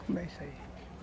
aí.